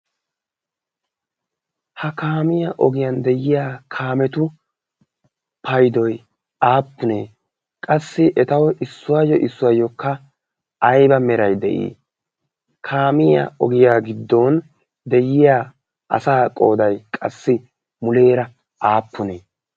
ha kaamiya ogiyan de'iya kaametu paydoy aapunne? ha kametu meray ay malatii? ha kaamiya ogiyan diya asaa qooday aapunne?